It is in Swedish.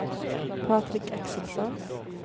Patrik Axelsson